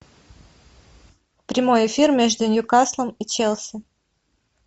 прямой эфир между ньюкаслом и челси